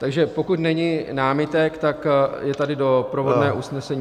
Takže pokud není námitek, tak je tady doprovodné usnesení.